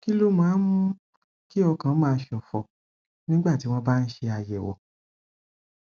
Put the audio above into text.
kí ló máa ń mú kí ọkàn máa ṣòfò nígbà tí wọn bá ń ṣe àyẹwò